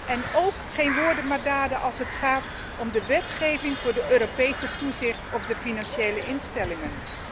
En ook geen woorden maar daden als het gaat om de wetgeving inzake het Europese toezicht op de financiële instellingen.